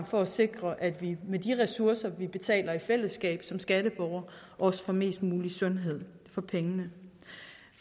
for at sikre at vi med de ressourcer vi betaler i fællesskab som skatteborgere også får mest mulig sundhed for pengene